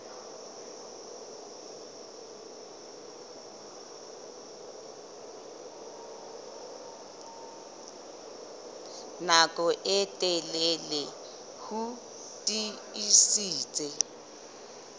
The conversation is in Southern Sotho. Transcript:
nako e telele ho tiisitse